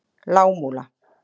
Lágmúla